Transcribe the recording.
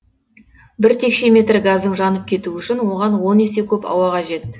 бір текше метр газдың жанып кетуі үшін оған он есе көп ауа қажет